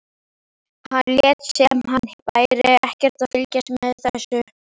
Hann lét sem hann væri ekkert að fylgjast með þessu.